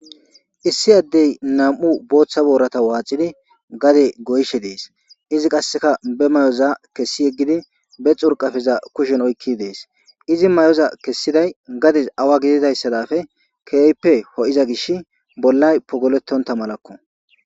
Issi addey nam'u booththa boorata waacidi gade goyshe dees izi qasseka be may'oza kessi yeggidi be xurqafeza kushen oykki dees izi may'oza kessiday gades awa gididayssadafe keeyppe ho'iza gish bollay pogolettonta malakko.